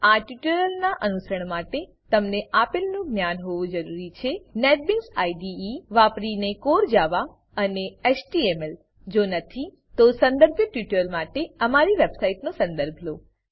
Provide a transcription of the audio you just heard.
આ ટ્યુટોરીયલનાં અનુસરણ માટે તમને આપેલનું જ્ઞાન હોવું જરૂરી છે નેટબીન્સ આઇડીઇ વાપરીને કોર જાવા કોર જાવા અને એચટીએમએલ એચટીએમએલ જો નથી તો સંદર્ભિત ટ્યુટોરીયલો માટે અમારી વેબસાઈટનો સંદર્ભ લો